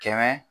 Kɛmɛ